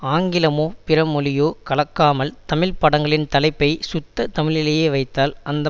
ஆங்கிலமோ பிறமொழியோ கலக்காமல் தமிழ் படங்களின் தலைப்பை சுத்த தமிழிலேயே வைத்தால் அந்த